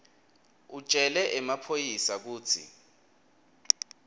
utjele emaphoyisa kutsi